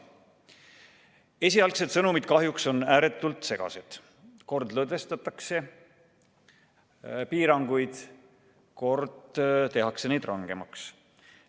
Esialgsed sõnumid on kahjuks ääretult segased, kord lõdvendatakse piiranguid, kord tehakse neid rangemaks.